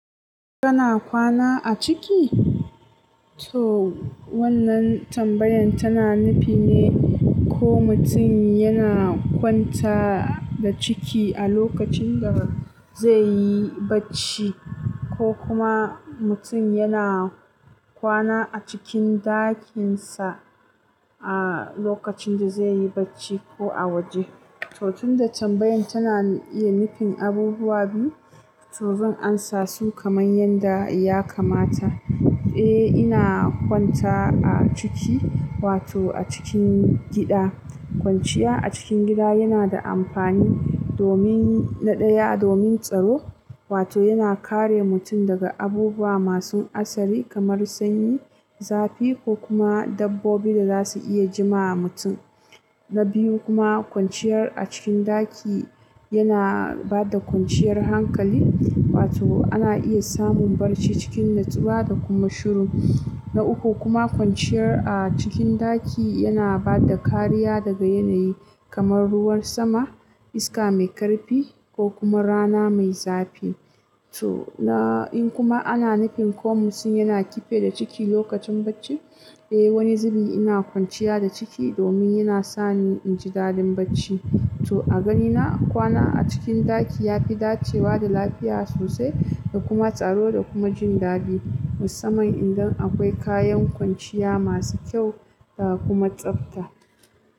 Kana kwana a ciki? To wannan tambayan tana nufin ne ko mutum yana kwanta da ciki a lokacin da zai yi barci ko kuma mutum yana kwana a cikin ɗakinsa a lokacin da zai yi barci ko a waje. To tun da tambayan tana iya nufin abubuwa biyu, to zan amsa su kamar yadda ya kamata. Eh, ina kwanta a ciki wato a cikin gida. Kwanciya a cikin gida yana da amfani domin na ɗaya domin tsaro, wato yana kare mutum daga abubuwa masu asari kamar sanyi, zafi ko kuma dabbobi da za su iya jima'a mutum. Na biyu kuma kwanciyar a cikin ɗaki yana ba da kwanciyar hankali wato ana iya samun barci cikin natsuwa da kuma shuru. Na uku kuma kwanciyar a cikin ɗaki yana ba da kariya daga yanayi kamar ruwan sama, iska mai ƙarfi ko kuma rana mai zafi. To na, in kuma ana nufin ko mutum yana kife da ciki lokacin barci, eh wani zibi ina kwanciya da ciki domin yana sani in ji daɗin barci. To a ganina kwana a cikin ɗaki yafi dacewa da lafiya sosai da kuma tsaro da kuma jin daɗi. Musamman idan akwai kayan kwanciya masu kyau da kuma tsabta.